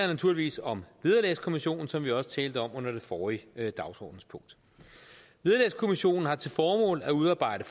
naturligvis om vederlagskommissionen som vi også talte om under det forrige dagsordenspunkt vederlagskommissionen har til formål at udarbejde